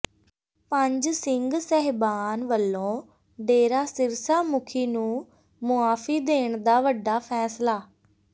ਪੰਜ ਸਿੰਘ ਸਾਹਿਬਾਨ ਵੱਲੋਂ ਡੇਰਾ ਸਿਰਸਾ ਮੁਖੀ ਨੂੰ ਮੁਆਫ਼ੀ ਦੇਣ ਦਾ ਵੱਡਾ ਫ਼ੈਸਲਾ